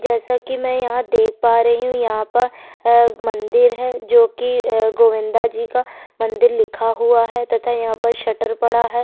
जैसा की में यहाँ देख पा रही हु यहाँ पर मंदिर है जो की गोविंदा जी का मंदिर लिखा हुआ है तथा यहाँ पर शटर पड़ा है।